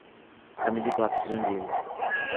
камеди клаб сезон девять